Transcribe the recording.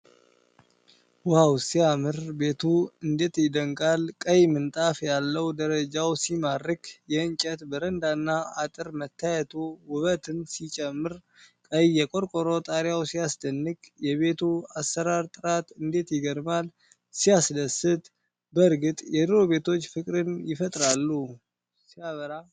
ዋው ሲያምር! ቤቱ እንዴት ይደነቃል! ቀይ ምንጣፍ ያለው ደረጃው ሲማርክ! የእንጨት በረንዳና አጥር መታየቱ ውበትን ሲጨምር! ቀይ የቆርቆሮ ጣሪያው ሲያስደንቅ! የቤቱ አሰራር ጥራት እንዴት ይገርማል! ሲያስደስት! በእርግጥ የድሮ ቤቶች ፍቅርን ይፈጥራሉ! ሲያበራ!